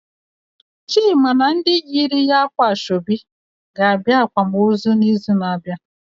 Chima na ndị yiri ya ákwà ga abịa akwamozu na izu na abịa